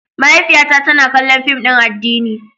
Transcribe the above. Mahaifiyata tana kallon fim din addini.